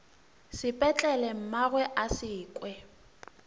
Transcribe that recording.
sepetlele mmagwe a se kwe